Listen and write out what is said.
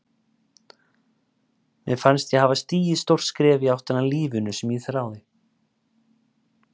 Mér fannst ég hafa stigið stórt skref í áttina að lífinu sem ég þráði.